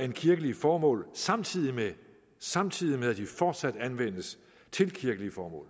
end kirkelige formål samtidig med samtidig med at de fortsat anvendes til kirkelige formål